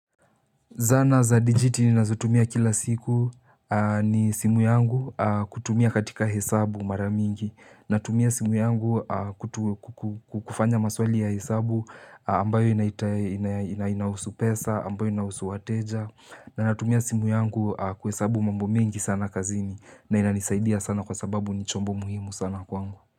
Zana za dijiti ninazotumia kila siku ni simu yangu kutumia katika hesabu maramingi Natumia simu yangu kufanya maswali ya hesabu ambayo inahusu pesa ambayo inahusu wateja Natumia simu yangu kuhesabu mambo mingi sana kazini na inanisaidia sana kwa sababu nichombo muhimu sana kwangu.